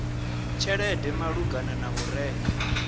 tshelede malugana na u renga